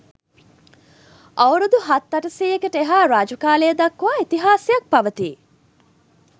අවුරුදු හත් අටසීයකට එහා රජ කාලය දක්වා ඉතිහාසයක් පවතී